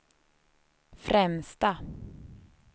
främsta